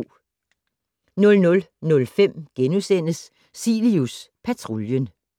00:05: Cilius Patruljen *